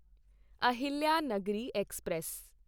Ahilyanagari express